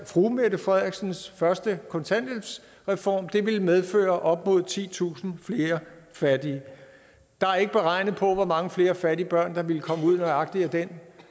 fru mette frederiksens første kontanthjælpsreform ville medføre op mod titusind flere fattige der er ikke regnet på hvor mange flere fattige børn der ville komme ud af nøjagtig den